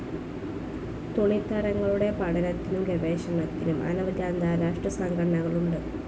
തുണിത്തരങ്ങളുടെ പഠനത്തിനും ഗവേഷണത്തിനും അനവധി അന്താരാഷ്ട്രസംഘടനകളുണ്ട്.